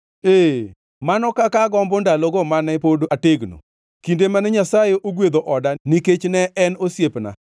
Ee, mano kaka agombo ndalogo mane pod ategno, kinde mane Nyasaye gwedho oda nikech ne en osiepna,